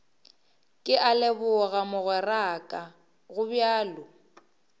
ke a leboga mogweraka gobjalo